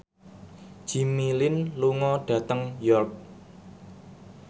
Jimmy Lin lunga dhateng York